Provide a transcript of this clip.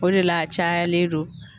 O de la , a cayalen don .